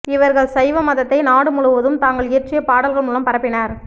இவர்கள் சைவ மதத்தை நாடு முழுவதும் தாங்கள் இயற்றிய பாடல்கள் முலம் பரப்பினர்